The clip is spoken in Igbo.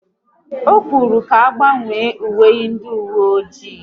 Ọ kwuru ka agbanwe uwe ndị uwe ọjị